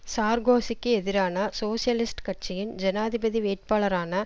சார்கோசிக்கு எதிரான சோசியலிஸ்ட் கட்சியின் ஜனாதிபதி வேட்பாளரான